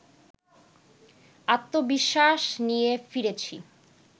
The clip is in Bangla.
আত্মবিশ্বাস নিয়ে ফিরেছি